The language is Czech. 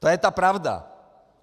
To je ta pravda.